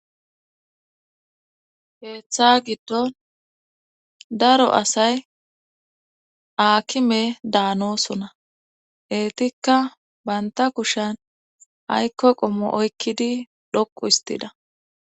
Heeththa giddon daro asay aakime daanosona heetikka baynta kushan aykko qommo oykkidi dhoqu istida.